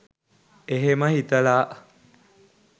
එහෙම හිතලා